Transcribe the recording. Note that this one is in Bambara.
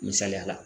Misaliya la